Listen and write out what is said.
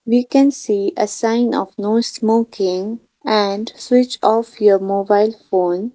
we can see a sign of no smoking and switch off your mobile phone.